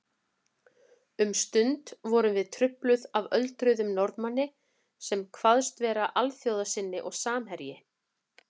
Um stund vorum við trufluð af öldruðum Norðmanni sem kvaðst vera alþjóðasinni og samherji